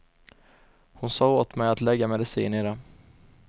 Hon sade åt mig att lägga medicin i det.